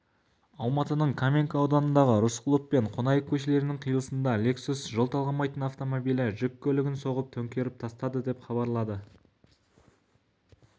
алматының каменка ауданындағы рысқұлов мен қонаев көшелерінің қиылысында лексус жол талғамайтын автомобилі жүк көлігін соғып төңкеріп тастады деп хабарлайды ақпарат тілшісі